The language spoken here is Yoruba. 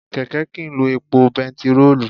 Kẹ̀kẹ́ kìí lo epo bẹntiróòlù.